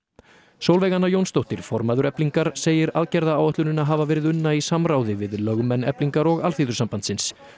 Sólveig Anna Jónsdóttir formaður Eflingar segir aðgerðaáætlunina hafa verið unna í samráði við lögmenn Eflingar og Alþýðusambandsins